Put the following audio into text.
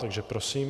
Takže prosím.